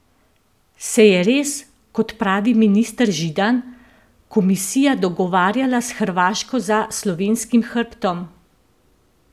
Se je res, kot pravi minister Židan, komisija dogovarjala s Hrvaško za slovenskim hrbtom?